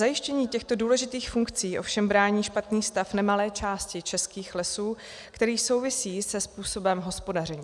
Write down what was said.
Zajištění těchto důležitých funkcí ovšem brání špatný stav nemalé části českých lesů, který souvisí se způsobem hospodaření.